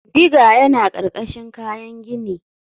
Digger yana ƙarƙashin kayan gini.